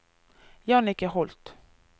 Jannicke Holth